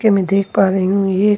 के मै देख पा रही हूं ये--